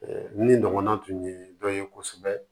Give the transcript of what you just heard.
min ɲɔgɔnna tun ye dɔ ye kosɛbɛ